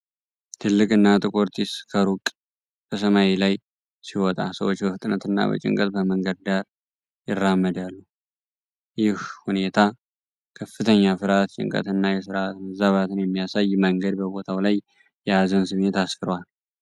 ትልቅና ጥቁር ጢስ ከሩቅ በሰማይ ላይ ሲወጣ፤ ሰዎች በፍጥነትና በጭንቀት በመንገድ ዳር ይራመዳሉ። ይህ ሁኔታ ከፍተኛ ፍርሃት፣ ጭንቀትና የሥርዓት መዛባትን በሚያሳይ መንገድ በቦታው ላይ የሀዘን ስሜት አስፍሯል።